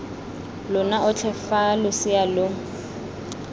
lona otlhe fa losea lo